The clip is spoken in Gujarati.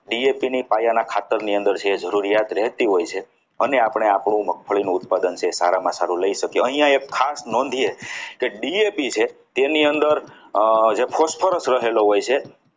DAP ના પાયાની ખાતર ની અંદર જે જરૂરી છે જરૂરિયાત રહેતી હોય છે અને આપણે આપણી મગફળીનું ઉત્પાદન સારામાં સારું લઈ શકીએ અહીંયા ખાસ નોંધે કે DAP છે તેની અંદર જે phosphorus રહેલો હોય છે.